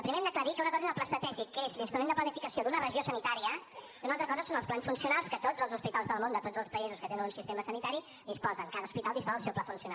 primer hem d’aclarir que una cosa és el pla estratègic que és l’instrument de planificació d’una regió sanitària i una altra cosa són els plans funcionals que tots els hospitals del món de tots els països que tenen un sistema sanitari en disposen cada hospital disposa del seu pla funcional